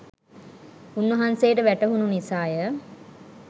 උන්වහන්සේට වැටහුණු නිසා ය.